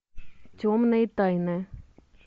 темные тайны